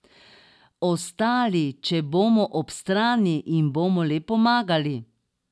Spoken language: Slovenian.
Ostali, če bomo ob strani, jim bomo le pomagali.